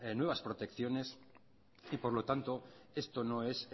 nuevas protecciones y por lo tanto esto no es